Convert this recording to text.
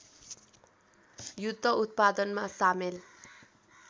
युद्ध उत्पादनमा सामेल